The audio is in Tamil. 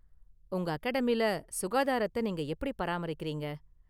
உங்க அகாடமில சுகாதாரத்த நீங்க எப்படி பராமரிக்கறீங்க?